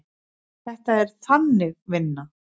Þetta er Þannig vinna.